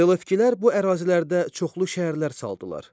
Selevkilər bu ərazilərdə çoxlu şəhərlər saldılar.